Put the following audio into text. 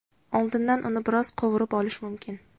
Oldindan uni biroz qovurib olish mumkin.